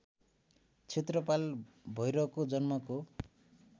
क्षेत्रपाल भैरवको जन्मको